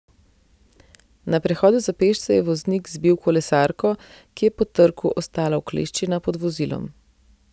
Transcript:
Na prehodu za pešce je voznik zbil kolesarko, ki je po trku ostala ukleščena pod vozilom.